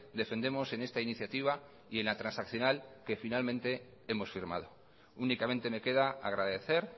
defendemos en esta iniciativa y en la transaccional que finalmente hemos firmado únicamente me queda agradecer